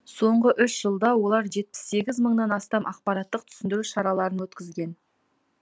соңғы үш жылда олар жетпіс сегіз мыңнан астам ақпараттық түсіндіру шараларын өткізген